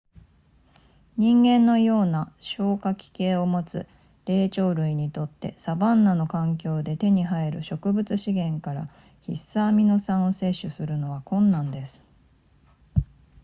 人間のような消化器系を持つ霊長類にとってサバンナの環境で手に入る植物資源から必須アミノ酸を摂取するのは困難です